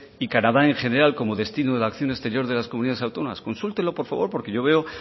y canadá en general como destino de la acción exterior de las comunidades autónomas consúltelo por favor porque yo veo